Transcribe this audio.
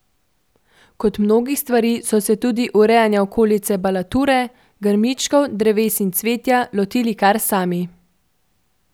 Kot mnogih stvari so se tudi urejanja okolice Balature, grmičkov, dreves in cvetja, lotili kar sami.